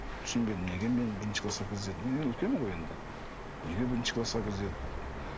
түсінбедім неге мені бірінші класқа кіргізеді мен енді үлкенмін ғой енді неге бірінші класқа кіргізеді